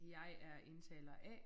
Jeg er indtaler A